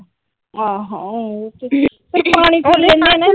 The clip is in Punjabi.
ਆਹੋ